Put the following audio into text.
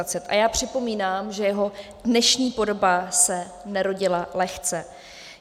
A já připomínám, že jeho dnešní podoba se nerodila lehce.